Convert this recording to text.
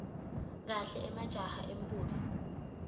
kahle majaha embutfo